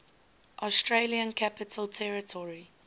australian capital territory